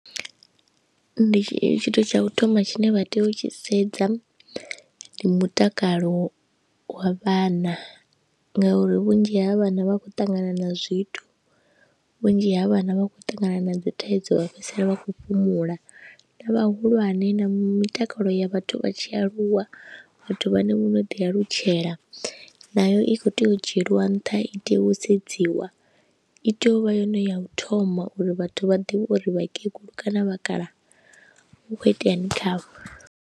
Ndi tshithu tsha u thoma tshine vha tea u tshi sedza ndi mutakalo wa vhana ngauri vhunzhi ha vhana vha khou ṱangana na zwithu, vhunzhi ha vhana vha khou ṱangana na dzi thaidzo vha fhedzisela vha khou fhumula na vhahulwane na mitakalo ya vhathu vha tshi aluwa vhathu vhane vho no ḓi alutshela nayo i khou tea u dzhielwa nṱha, i tea u sedziwa, i tea u vha yone ya u thoma uri vhathu vha ḓivhe uri vhakegulu kana vhakaha hu khou iteani khavho.